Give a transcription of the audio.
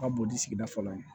Ka bon ni sigida fɔlɔ ye